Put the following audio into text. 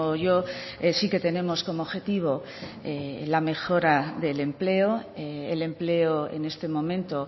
yo sí que tenemos como objetivo la mejora del empleo el empleo en este momento